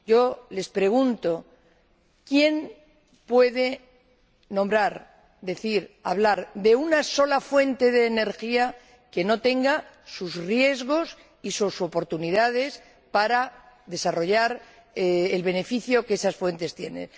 Yo les pregunto quién puede nombrar, decir, hablar de una sola fuente de energía que no conlleve sus riesgos y sus oportunidades para desarrollar el beneficio que contiene.